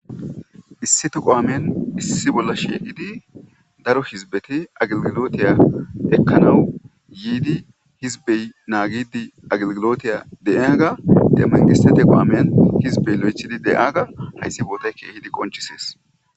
issi tuqo amiyan issi bolla sheeqidi daro hizbeti aglgilotiya ekkanawu yiidi hizbey naagidi aglgilotiya deeyaga demaqisete qo amiyan hizbey lo7echidi de7aaga hayssi bootay keehidi qonchisees